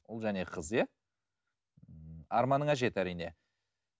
ұл және қыз иә ммм арманыңа жет әрине